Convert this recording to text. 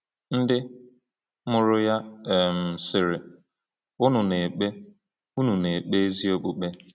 Ndị mụrụ ya um sịrị: “Unu na-ekpe “Unu na-ekpe ezi okpukpe.”